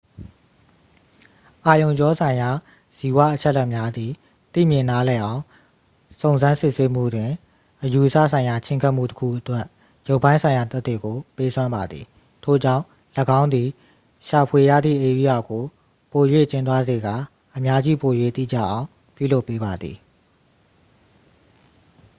အာရုံကြောဆိုင်ရာဇီဝအချက်အလက်များသည် သိမြင်နားလည်အောင်စုံစမ်းစစ်ဆေးမှုတွင် အယူအဆဆိုင်ရာချဉ်းကပ်မှုတစ်ခုအတွက် ရုပ်ပိုင်းဆိုင်ရာသက်သေကို ပေးစွမ်းပါသည် ထို့ကြောင့် ၎င်းသည် ရှာဖွေရသည့်ဧရိယာကို ပို၍ကျဉ်းသွားစေကာ အများကြီးပို၍တိကျအောင် ပြုလုပ်ပေးပါသည်